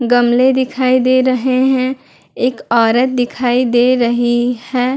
गमले दिखाई दे रहें हैं एक औरत दिखाई दे रही है।